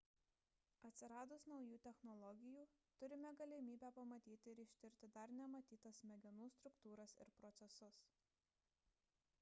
atsiradus naujų technologijų turime galimybę pamatyti ir ištirti dar nematytas smegenų struktūras ir procesus